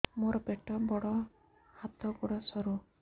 ମୋର ପେଟ ବଡ ହାତ ଗୋଡ ସରୁ